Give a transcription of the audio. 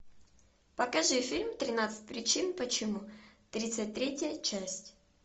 покажи фильм тринадцать причин почему тридцать третья часть